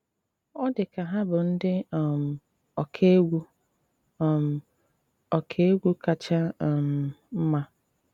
Ọ́ dị́ ká há bụ́ ndị um ọkà égwú um ọkà égwú káchá um mmá